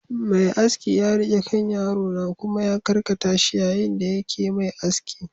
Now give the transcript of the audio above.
Mai aski ya riƙe kan yaro na kuma ya karkata shi yayin da yake Mai aski